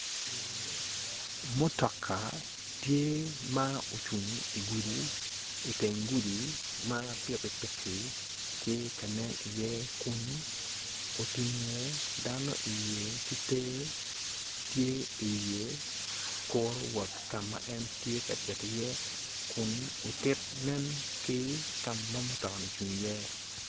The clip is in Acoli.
Mutoka tye ma ocung i gudi i teng gudi ma pikipiki tye ka nen iye kun utingu dano iye ki ter tye i wiye kuru wot ka en tye ka cito iye kun otit nen ki ka ma mutokani ocung iye